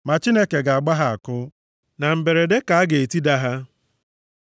Ma Chineke ga-agba ha àkụ, na mberede ka a ga-etida ha.